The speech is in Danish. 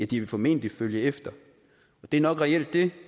de vil formentlig følge efter det er nok reelt det